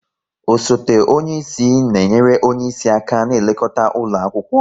Osote onye isi na enyere onye isi aka n'elekota ụlọ akwụkwọ